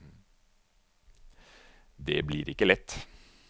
Det blir ikke lett!